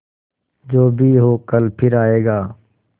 जो भी हो कल फिर आएगा